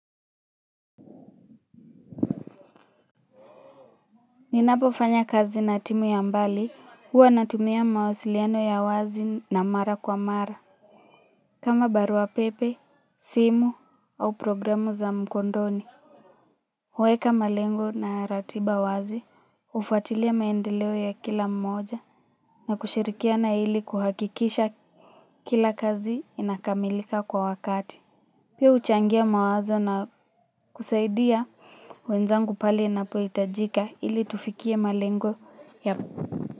Ninapofanya kazi na timu ya mbali huwa natumia mawasiliano ya wazi na mara kwa mara. Kama barua pepe, simu au programu za mkondoni huweka malengo na ratiba wazi, hufuatilia maendeleo ya kila mmoja na kushirikia na ili kuhakikisha kila kazi inakamilika kwa wakati. Pia huchangia mawazo na kusaidia wenzangu pale napohitajika ili tufikie malengo ya.